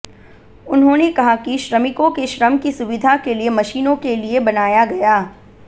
उन्होंने कहा कि श्रमिकों के श्रम की सुविधा के लिए मशीनों के लिए बनाया गया